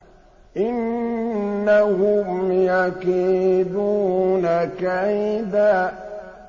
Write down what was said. إِنَّهُمْ يَكِيدُونَ كَيْدًا